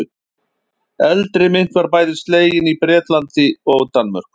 Eldri mynt var bæði slegin í Bretlandi og Danmörku.